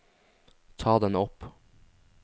ta den opp